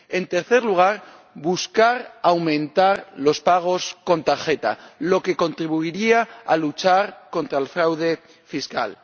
En tercer lugar, buscar aumentar los pagos con tarjeta, lo que contribuiría a luchar contra el fraude fiscal.